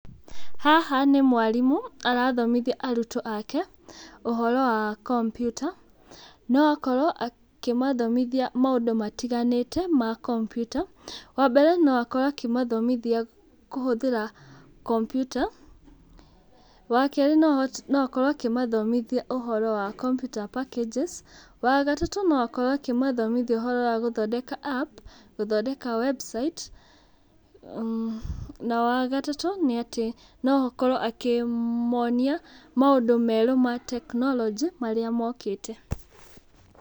Haha nĩ mwarimũ, arathomithia arutwo ake ũhoro wa kompiuta. No akorwo akĩmathomithia maũndũ matiganĩte ma kompiuta. Wa mbere, no akorwo akĩmathomithia kũhũthĩra kompiuta, wa kerĩ no no akorwo akĩmathomithia ũhoro wa computer packages, wa gatatũ, no akorwo akĩmathomithia ũhoro wa gũthondeka app, gũthondeka website, na wa gatatũ, nĩ atĩ no akorwo akĩmonia maũndũ merũ ma tekinoronjĩ, marĩa mokĩte.